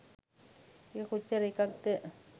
එක කොච්චර එකක්ද?